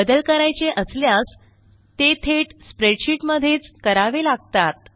बदल करायचे असल्यास ते थेट स्प्रेडशीट मधेच करावे लागतात